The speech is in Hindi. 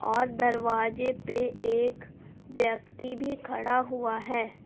और दरवाजे पे एक व्यक्ति भी खड़ा हुआ है।